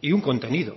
y un contenido